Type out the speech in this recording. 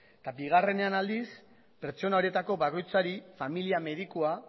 eta bigarrenean aldiz pertsona horietako bakoitzari familia medikua